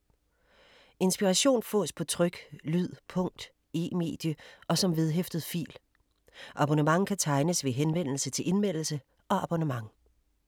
Inspiration fås på tryk, lyd, punkt, e-medie og som vedhæftet fil. Abonnement kan tegnes ved henvendelse til Indmeldelse og abonnement.